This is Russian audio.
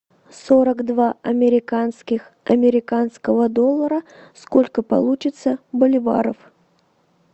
сорок два американских американского доллара сколько получится боливаров